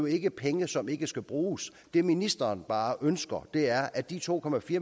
ikke er penge som ikke skal bruges det ministeren bare ønsker er at de to